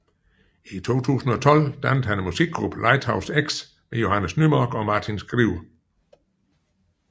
I 2012 dannede han musikgruppen Lighthouse X med Johannes Nymark og Martin Skriver